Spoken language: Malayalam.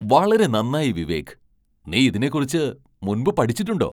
വളരെ നന്നായി വിവേക്! നീ ഇതിനെക്കുറിച്ച് മുൻപ് പഠിച്ചിട്ടുണ്ടോ?